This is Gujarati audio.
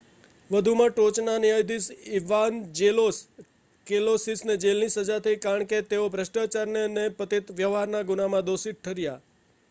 વધુમાં ટોચના ન્યાયાધીશ ઇવાન્જેલોસ કૅલોસિસને જેલની સજા થઈ કારણ કે તેઓ ભ્રષ્ટાચારના અને પતિત વ્યવહારના ગુનામાં દોષી ઠર્યા